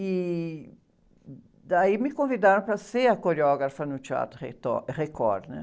E daí me convidaram para ser a coreógrafa no Teatro, Record, né?